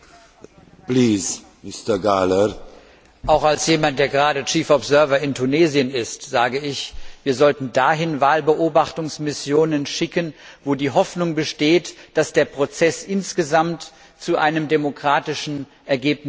Herr Präsident! Auch als jemand, der gerade Chefbeobachter in Tunesien ist, sage ich, wir sollten dahin Wahlbeobachtungsmissionen schicken, wo die Hoffnung besteht, dass der Prozess insgesamt zu einem demokratischen Ergebnis führen kann.